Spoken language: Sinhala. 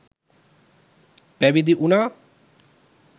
පැවිදි වුණා.